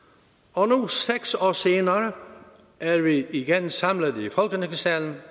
og nu seks år senere er vi igen samlet i folketingssalen